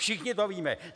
Všichni to víme.